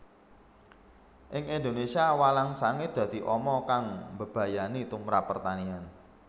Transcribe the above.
Ing Indonésia walang sangit dadi ama kang mbebayani tumprap pertanian